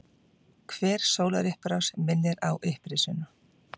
Hver sólarupprás minnir á upprisuna.